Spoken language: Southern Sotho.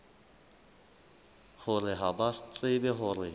hore ha ba tsebe hore